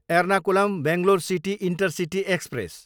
Ernakulam, Bangalore city intercity express